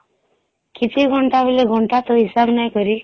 କେତେ ଘଣ୍ଟା ବୋଇଲେ ଘଣ୍ଟା ତ ହିସାବ ନାଇଁ କରି